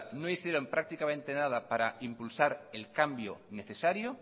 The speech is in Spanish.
no hicieron prácticamente nada para impulsar el cambio necesario